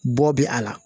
Bɔ bɛ a la